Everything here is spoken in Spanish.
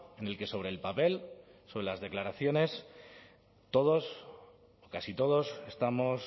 en el que sobre el papel sobre las declaraciones todos casi todos estamos